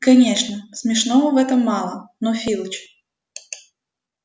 конечно смешного в этом мало но филч